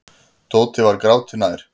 Tóti var gráti nær.